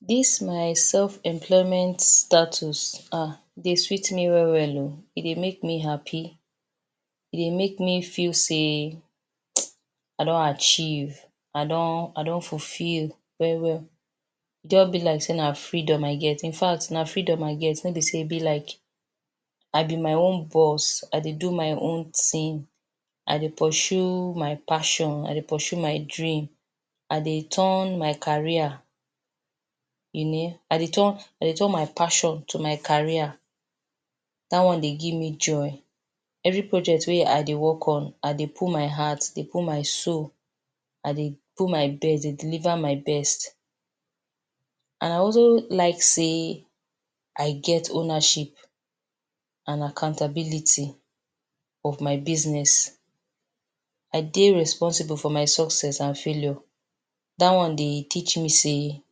This my self employment status ah e dey sweet me well well ooh e dey make me happy e dey make me feel sey I don achieve I don fulfill well well e just be like sey na freedom I get infact na freedom I get no be sey be like i be my own boss. I dey do my own thing i dey pursue my passion, I dey pursue my dream, I dey turn my career, I dey turn my passion to my career dat one dey give me joy. Every project wey I dey work on I dey put my heart dey put my soul I dey put my best dey deliver my best and I also like sey I get ownership and accountability of my business. I dey responsible for my success and failure dat one de teach me sey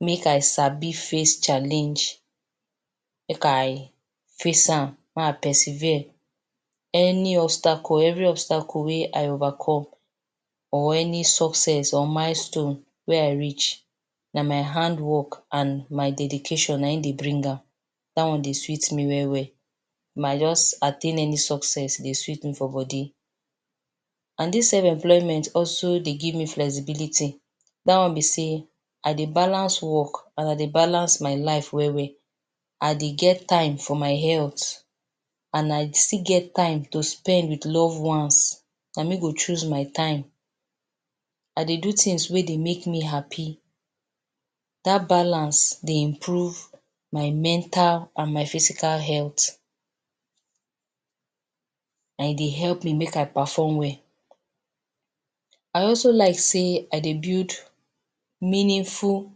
make I sabi face challenge make I face am my persevere any obstacle, every obstacle wey I overcome or any success or milestone wey I reach na my handwork and my dedication na in dey bring am. Dat one dey sweet me well well if I just attain any success e dey sweet me for body and dis self employment also dey give me flexibility dat one be sey I dey balance work and I dey balance my life well well I dey get time for my health and I still get time to spend with loved ones na me go choose my time. I dey do things wey dey make me happy dat balance dey improve my mental and my physical health and e dey help me make I perform well I also like sey I dey build meaningful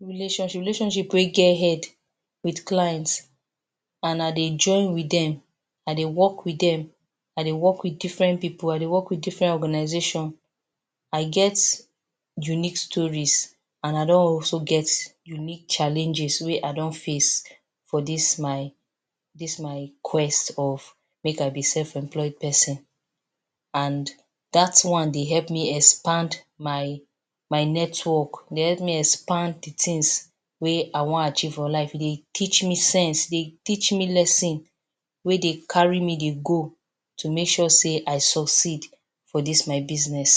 relationships, Relationship wey get head with clients and I dey join with dem I dey work with dem I dey work with different people I dey work with different organization. I get unique stories and I don also get unique challenges wey I don face for dis my dis my quest of make I be self employed person and dat one dey help me expand my network e dey help me expand d things wey I wan achieve for life. E dey teach me sense, e dey teach me lesson wey dey carry me dey go to make sure say I succeed for dis my business.